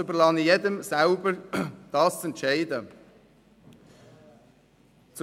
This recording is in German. Dies zu entscheiden, überlasse ich jedem selbst.